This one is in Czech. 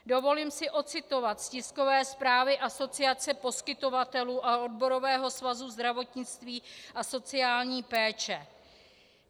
Dovolím si ocitovat z tiskové zprávy Asociace poskytovatelů a Odborového svazu zdravotnictví a sociální péče.